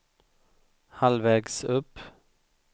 halvvägs upp